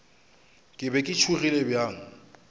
ke be ke tšhogile bjang